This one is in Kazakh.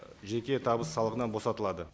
жеке табыс салығынан босатылады